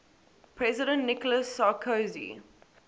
president nicolas sarkozy